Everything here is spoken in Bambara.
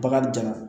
Bagan ja